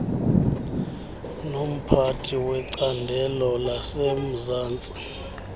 nomphathi wecandelo lasemzantsi